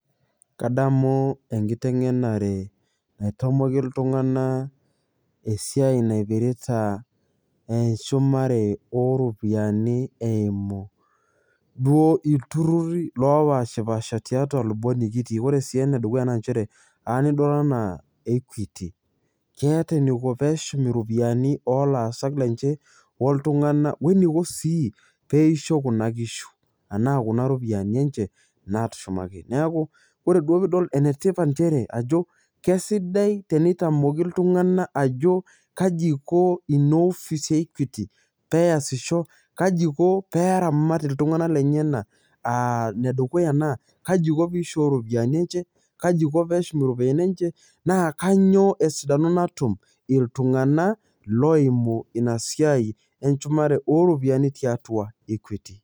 kadamu enkiteng'enare naitomoki iltung'anak esiai naipirita eshumare oropiyiani eimu duo iturrruri lopaashipasha tiatua ilubot nikitii ore sii enedukuya naa nchere anidol anaa equity keeta eniko peeshum iropiyiani olaasak lenche oltung'ana weniko sii peisho kuna kishu anaa kuna ropiyiani enche natushumaki neeku ore duo piidol enetipat nchere ajo kesidai teneitamoki iltung'anak ajo kaji iko ino ofisi e equity peyasisho kaji iko peramat iltung'anak lenyena aa nedukuya naa kaji iko piisho iropiyiani enche kaji iko peshum iropiyiani enche naa kanyio esidano natum iltung'ana loimu inasiai enchumare oropiyiani tiatua equity.